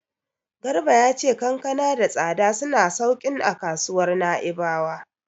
Garba ya ce kankana da tsada suna sauƙin a kasuwar Na'ibawa.